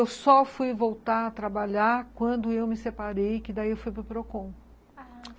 Eu só fui voltar a trabalhar quando eu me separei, que daí eu fui para o Procon, ah...